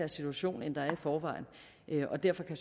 situation end der er i forvejen og derfor kan